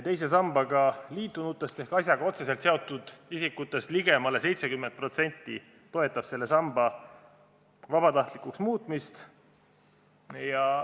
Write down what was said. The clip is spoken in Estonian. Teise sambaga liitunutest ehk asjaga otseselt seotud isikutest ligemale 70% toetab selle samba vabatahtlikuks muutmist.